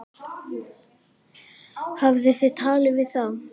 Hafið þið talað við þá?